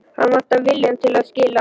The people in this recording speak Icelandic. Hann vantar viljann til að skilja.